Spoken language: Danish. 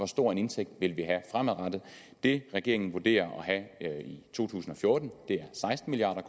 stor en indtægt vi vil have fremadrettet det regeringen vurderer at have i to tusind og fjorten er seksten milliard